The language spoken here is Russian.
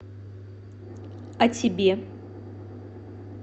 а тебе